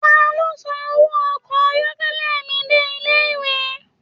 Taló san owó ọkọ ayọkẹlẹ mí dé ilé ìwé.